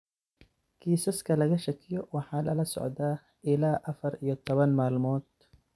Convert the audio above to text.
Kiisaska laga shakiyo waxaa lala socdaa ilaa afar iyo toban maalmood.